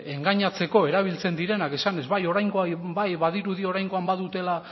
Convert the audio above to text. engainatzeko erabiltzen direna esanez bai oraingoan ba badirudi oraingo bai dutela